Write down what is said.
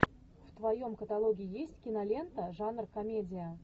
в твоем каталоге есть кинолента жанр комедия